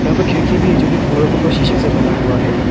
यहां पर खिड़की भी जो कि पूरा का पूरा शीशा से बना हुआ है।